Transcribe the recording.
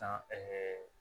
San ɛɛ